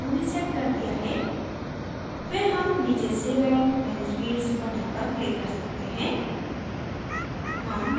जब हमने उन्हें set कर दिया है फिर हम नीचे save and manage fields button पर click कर सकते हैं